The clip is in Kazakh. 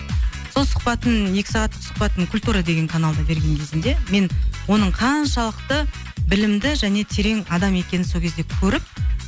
сол сұхбатын екі сағаттық сұхбатын культура деген каналда берген кезінде мен оның қаншалықты білімді және терең адам екенін сол кезде көріп